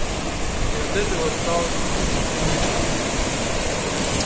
и от этого стал циничен